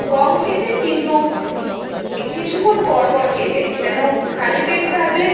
কম খেতে. কিন্তু কিছুক্ষণ পর পর খেতে যেন খালি পেট থাকলে